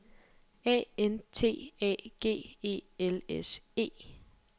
A N T A G E L S E